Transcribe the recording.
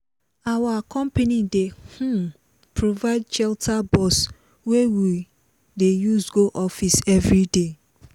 our company dey um provide shuttle bus wey we dey use go office every day